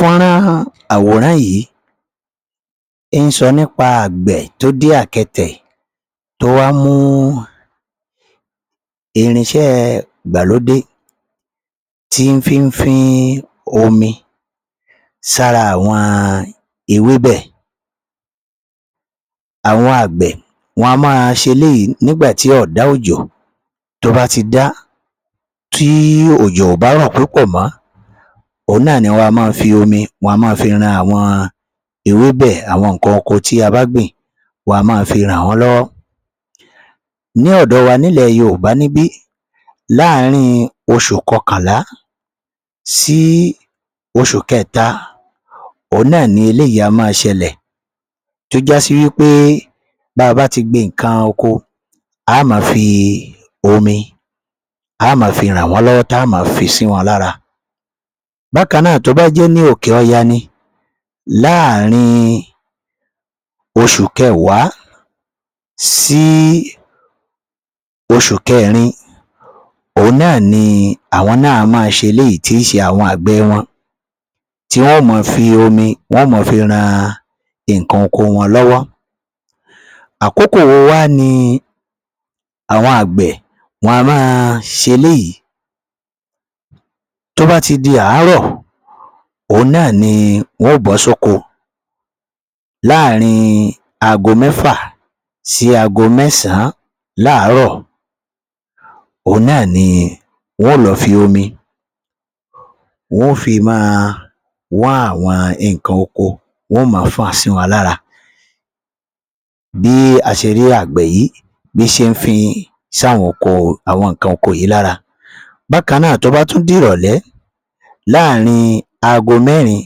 Fọ́nrán àwòrán yìí ń sọ nípa àgbẹ̀ tó dé àkẹtẹ̀ tó wá mú irinṣẹ́ ìgbàlódé tí ń fí ń fín omi sára àwọn ewébẹ̀. Àwọn àgbẹ̀ wọn a máa ṣe eléyìí nígbà tí ọ̀dá òjò tó bá ti dá, tí òjò ò bá rọ̀ púpọ̀ ni òhun náà ni wọn a má fi omi, wọn a máa fi ran àwọn ewébẹ̀ àwọn nǹkan oko tí a bá gbìn wọ́n a máa fi ràn wọ́n lọ́wọ́. Ní ọ̀dọ wa nílẹ̀ Yorùbá níbí láàrin oṣù kọkànlá sí oṣù kẹta òhun náà ni eléyìí a máa ṣelẹ̀ tó já sí wí pé bá a bá ti gbin nǹkan oko a á máa fi omi a á máa fi rà wọ́n lọ́wọ́ a á máa fi sí wọn lára. Bákan náà, tó bá jẹ́ ní òkè ọya ni láàrin oṣù kẹwàá sí oṣù kẹẹ̀rin òhun náà ni àwọn náà a máa ṣe eléyìí tí í ṣe àwọn àgbẹ̀ wọn tí wọ́n ó máa fi omi, wọn ó máa fi ran nǹkan oko wọn lọ́wọ́. Àkókò wo wá ni àwọn àgbẹ̀ wọn a máa ṣe eléyìí tó bá ti di àárọ̀ òhun náà wọ́n ó bọ́ s’óko ní àárin aago mẹ́fà sí aago mẹ́sàn-án láàárọ̀ òhun náà ni wọ́n ó lọ fi omi wọ́n ó fi máa wọ́n àwọn nǹkan oko wọ́n máa fọ́n-ọn síwọn lára. Bí a ṣe rí àgbẹ̀ yìí bí ṣe ń fin sí àwọn nǹkan oko yìí lára. Bákan náà tó bá tún di ìrọ̀lẹ́ láàrin aago mẹ́rin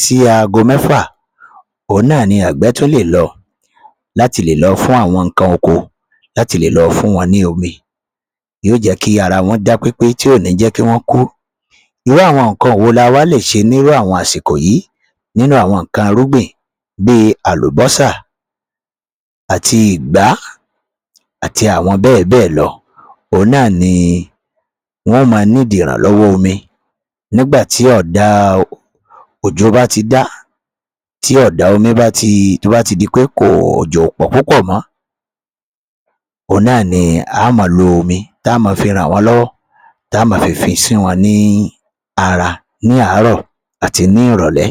sí aago mẹ́fà òhun náà ni àgbẹ̀ tún lè lọ láti le lọ fún àwọn nǹkan oko, láti le lọ fún wọn ní omi tí yóò jé kí ara wọ́n dá pépé tì ò ní jẹ́ kí wọ́n kú. Irú àwọn nǹkan wo ni a wá lè ṣẹ ní irú àwọn àsìkò yìí nínú àwọn nǹkan irúgbìn bí i àlùbọ́sà àti ìgbá àti àwọn bẹ́ẹ̀ bẹ́ẹ̀ lọ òhun náà wọn ó máa ìrànlọ́wọ́ omi nígbà tí ọ̀dá òjò tó bá ti dá, tí ọ̀dá omi bá ti di pe òjò ò pọ̀ púpọ̀ mọ́ òhun náà ni á máa lo omi tá á máa fi ràn wọ́n lọ́wọ́ tá má fi fin sí wọn ní ara ní àárọ̀ àti ní ìrọ̀lẹ́